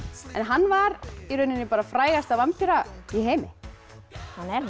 en hann var frægasta vampíra í heimi hann er